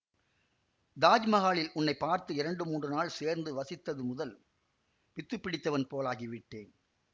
தாஜ்மகாலில் உன்னை பார்த்து இரண்டு மூன்று நாள் சேர்ந்து வசித்தது முதல் பித்து பிடித்தவன் போலாகிவிட்டேன்